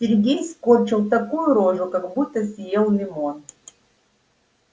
сергей скорчил такую рожу как будто съел лимон